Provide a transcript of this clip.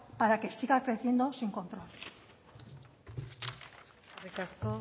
para que siga creciendo sin control eskerrik asko